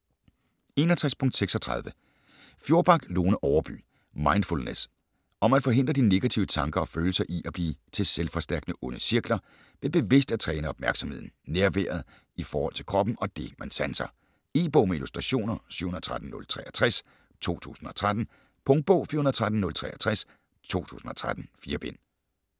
61.36 Fjorback, Lone Overby: Mindfulness Om at forhindre de negative tanker og følelser i at blive til selvforstærkende onde cirkler, ved bevidst at træne opmærksomheden, nærværet i forhold til kroppen og det, man sanser. E-bog med illustrationer 713063 2013. Punktbog 413063 2013. 4 bind.